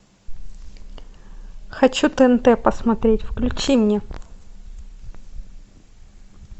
хочу тнт посмотреть включи мне